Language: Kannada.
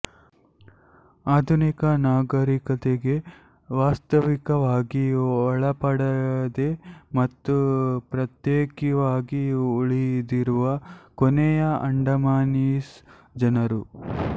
ಆಧುನಿಕ ನಾಗರೀಕತೆಗೆ ವಾಸ್ತವಿಕವಾಗಿ ಒಳಪಡದೆ ಮತ್ತು ಪ್ರತ್ಯೇಕಿವಾಗಿ ಉಳಿದಿರುವ ಕೊನೆಯ ಅಂಡಮಾನೀಸ್ ಜನರು